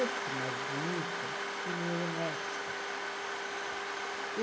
Esse, mais bonito, ele era um expert.